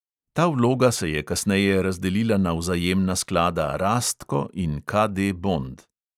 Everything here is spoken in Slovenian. Ta vloga se je kasneje razdelila na vzajemna sklada rastko in KD bond.